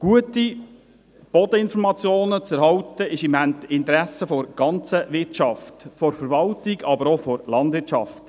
Gute Bodeninformationen zu erhalten, liegt im Interessen der gesamten Wirtschaft – von der Verwaltung, aber auch von der Landwirtschaft.